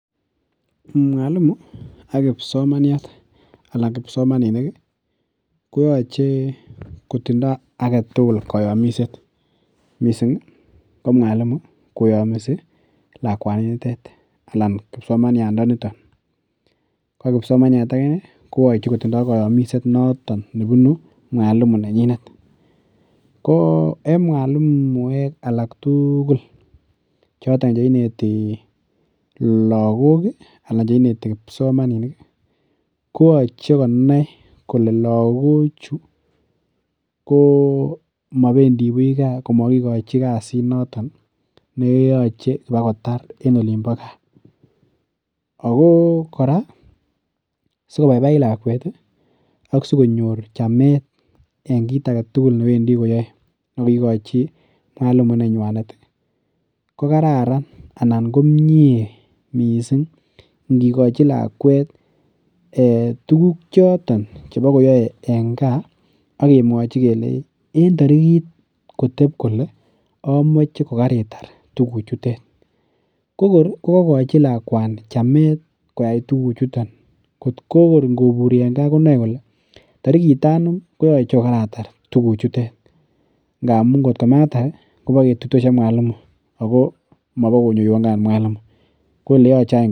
Mwalimu ak kipsomaniat anan kisomaninik koyoche kotindo agetugul koyomiset mising ko mwalimu koyomisi lakwaninitet anan kipsomaniandanito. Ko kipsomaniat agine koyoche kotindo koyomiset noto nebunu mwalimu nenyinet. Ko en mwalimuek alaktugul choton che ineti lagok anan che ineti kipsomamaninik koyoche konai kole lagochu komabendi buch kaa komakikochi kasinoton neyoche bokotar en olimbo kaa. Ago kora sikobaibait lakwet ago sikonyor chamet en kitagetugul newendi koyoe nekaikochi mwalimu nenywanet kokararan anan komie mising ingikochi lakwet ee tuguk choton chebokoyoe en kaa ak kemwochi kelei en tarigit kotep kole amoche kokoritar tuguchutet. Kokor kokakachi lakweni chamet koyai tuguchuton kot ko ogot ingoburi kongen kole tarigit anum koyoche kokaratar tuguchutet ngamun ngotkomatar kobaketuitosi ak mwalimu ago mabokonyoiwon kaat mwalimu. Ko oleyoche any